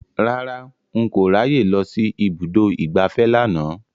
Rárá, n kò ráyè lọ sí ibùdó ìgbafẹ́ lánàá